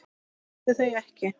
Fékkstu þau ekki?